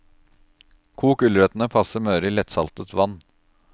Kok gulrøttene passe møre i lettsaltet vann.